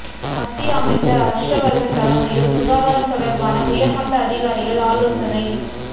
மத்திய அமைச்சர் ஹர்ஷவர்தன் தலைமையில் சுகாதாரம் தொடர்பான உயர்மட்ட அதிகாரிகள் ஆலோசனை